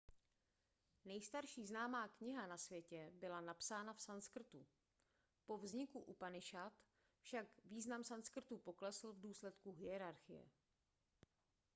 nejstarší známá kniha na světě byla napsána v sanskrtu po vzniku upanišad však význam sanskrtu poklesl v důsledku hierarchie